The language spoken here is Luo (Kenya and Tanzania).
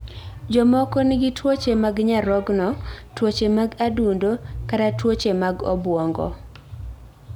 Jomoko nigi tuoche mag nyarogno, tuoche mag adundo kata tuoche mag obwongo.